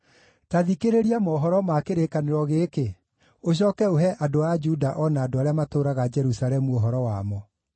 “Ta thikĩrĩria mohoro ma kĩrĩkanĩro gĩkĩ, ũcooke ũhe andũ a Juda o na andũ arĩa matũũraga Jerusalemu ũhoro wamo.